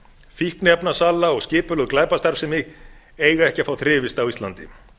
fíkniefnasala og skipulögð glæpastarfsemi eiga ekki að fá þrifist á íslandi